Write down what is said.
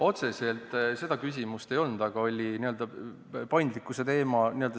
Otseselt seda küsimust ei olnud, aga oli n-ö paindlikkuse teema.